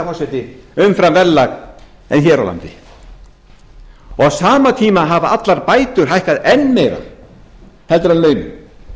forseti umfram verðlag og hér á landi á sama tíma hafa allar bætur hækkað enn meira en launin